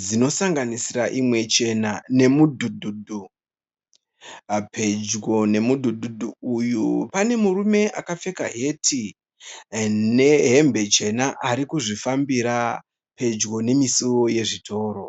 dzinosanganisira imwe chena nemudhudhu. Pedyo nemudhudhu uyu pane murume akapfeka heti nehembe chena ari kuzvifambira pedyo nemisuwo yezvitoro.